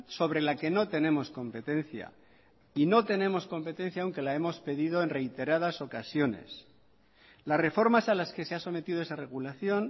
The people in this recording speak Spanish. sobre la que no tenemos competencia y no tenemos competencia aunque la hemos pedido en reiteradas ocasiones las reformas a las que se ha sometido esa regulación